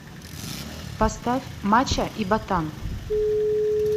поставь мачо и ботан